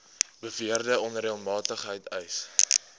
beweerde onreëlmatigheid vereis